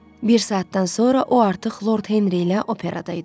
Bir saatdan sonra o artıq Lord Henri ilə operada idi.